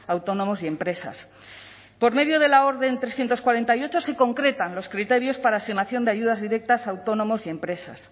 a autónomos y empresas por medio de la orden trescientos cuarenta y ocho se concretan los criterios para asignación de ayudas directas a autónomos y empresas